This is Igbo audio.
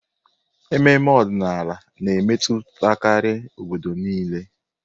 Ememe ọdịnala na-emetụtakarị obodo niile.